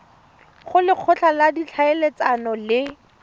go lekgotla la ditlhaeletsano le